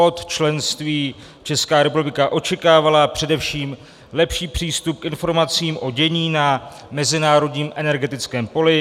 Od členství Česká republika očekávala především lepší přístup k informacím o dění na mezinárodním energetickém poli.